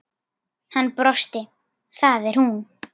Hann brosti: Það er hún